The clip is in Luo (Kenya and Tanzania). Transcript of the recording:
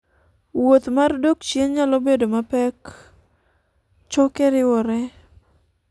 wuoth mar dok chien nyalo bedo mapek choke riwore